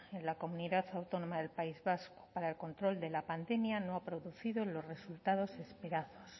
en la comunidad autónoma del país vasco para el control de la pandemia no ha producido los resultados esperados